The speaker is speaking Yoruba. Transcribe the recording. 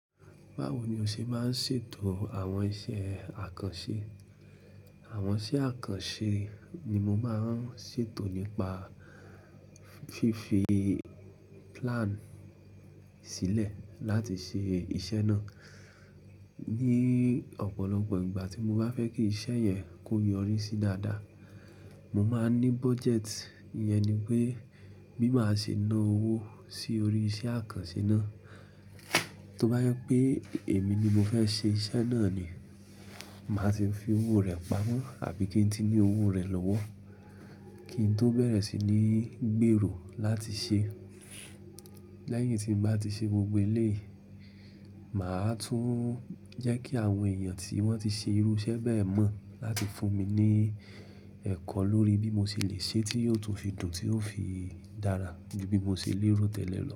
Báwo ni o ṣe máa ń ṣètò àwọn iṣẹ́ àkànṣe? Àwọn iṣẹ́ àkànṣe ni mo máa ń ṣètò nípa fífi plan sílẹ̀ láti ṣe iṣẹ́ náà. Ní ọ̀pọ̀lọpọ̀ ìgbà tí mo bá fẹ́ kí iṣẹ́ yẹn kó yọrí si dáadáa, mo máa ní budget. Iyẹn ni pé bí màá ṣe ná owó sí orí iṣẹ́ àkànṣe náà. Tó bá yẹ pé èmi ni mo fẹ́ ṣe iṣẹ́ náà ni, màá ti fi owó rẹ̀ pamọ́ àbí kí n ti ní owó rẹ̀ lọ́wọ́, kí n tó bẹ̀rẹ̀ sí ní gbèrò láti ṣe. Lẹ́yìn tí mo bá ti ṣe gbogbo eléyìí, màá tún jẹ́ kí àwọn èèyàn tí wọ́n ti ṣe irú iṣẹ́ bẹ́ẹ̀ mọ̀ láti fún mi ní ẹ̀kọ́ lórí bí mo ṣe lè ṣe tí ó tó fi dùn, tí ó fi dára ju bí mo ṣe lé ró tẹ́lẹ̀ lọ.